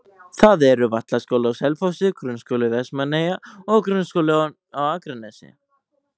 Það eru Vallaskóli á Selfossi, Grunnskóli Vestmannaeyja og Grundaskóli á Akranesi.